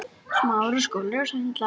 Ha, hvað er það?